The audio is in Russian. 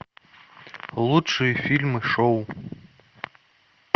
лучшие фильмы шоу